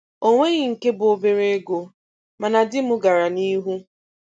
O nweghị nke bụ obere ego, mana di m gara n'ihu.